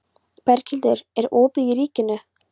Berghildur, er opið í Ríkinu?